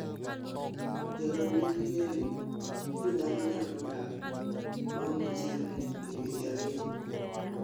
Jolony nigi geno ni dhano nyalo dak maonge chiemo e dweche ariyo